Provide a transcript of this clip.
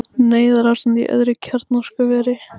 Neyðarástand í öðru kjarnorkuveri